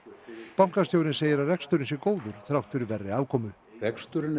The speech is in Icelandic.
bankastjóri segir að reksturinn sé góður þrátt fyrir verri afkomu reksturinn